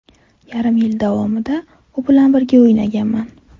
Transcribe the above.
Yarim yil davomida u bilan birga o‘ynaganman.